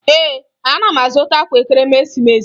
Ee, ana m azụta akwa Ekeresimeesi